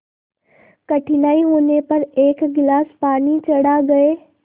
कठिनाई होने पर एक गिलास पानी चढ़ा गए